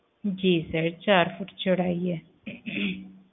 ਜੀ sir ਚਾਰ foot ਚੌੜਾਈ ਏ